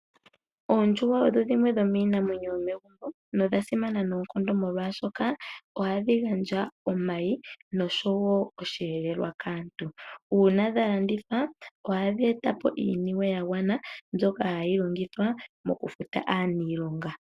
Oondjuhwa odho dhimwe dhomiinamwenyo yomegumbo, nodha simana noonkondo molwashoka oha dhi gandja omayi noshowo osheelelwa kaantu, uuna dha landithwa oha dhi etapo iiniwe ya gwana mbyoka ha yi longithwa mokufuta aaniilonga.